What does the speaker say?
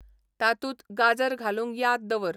तातूंत गाजर घालूंक याद दवर